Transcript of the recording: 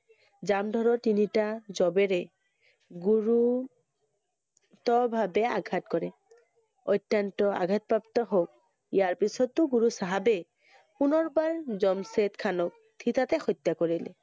জামধৰৰ তিনিটা জবেৰে, গুৰু~ত ভাবে আঘাত কৰে। অত্যন্ত আঘাতপ্ৰাপ্ত হল। ইয়াৰ পিছতো গুৰু চাহাবে পুনৰবাৰ জমছেদ খানক থিতাতে হত্যা কৰিলে।